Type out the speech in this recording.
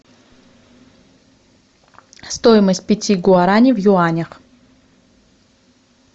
стоимость пяти гуарани в юанях